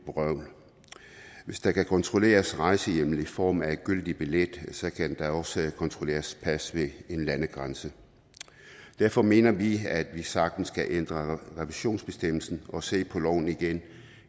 vrøvl hvis der kan kontrolleres rejsehjemmel i form af en gyldig billet kan der også kontrolleres pas ved en landegrænse derfor mener vi at vi sagtens kan ændre revisionsbestemmelsen og se på loven igen